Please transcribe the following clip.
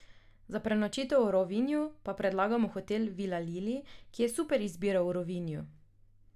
Za prenočitev v Rovinju pa predlagamo Hotel Vila Lili, ki je super izbira v Rovinju.